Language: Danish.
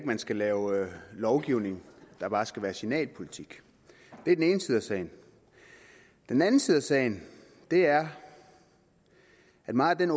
man skal lave lovgivning der bare skal være signalpolitik det er den ene side af sagen den anden side af sagen er at meget af